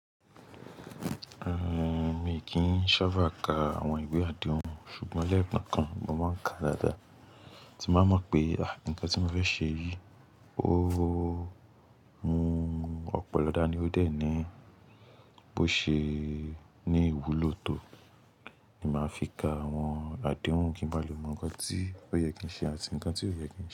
Rárá, mi kì í sábà ka àwọn ìwé àdéhùn ṣùgbọ́n lẹ́ẹ̀kan kan mo máa ń ka dáadáa tí máa mọ̀ pé, ah! Nǹkan tí mo fẹ́ ṣe yìí ó, oóó, mú ọ̀pọ̀lọ dá ni ó dẹ̀ ní bó ṣe ní ìwúlò tó, ni máa fi ka àwọn àdéhùn kí n báa lè mọ̀ nǹkan tí ó yẹ kí n ṣe àti nǹkan tí ò yẹ kí n ṣe.